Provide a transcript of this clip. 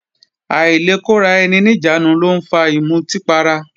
Àìlekóraeni-níjàánu ló ń fa ìmutí para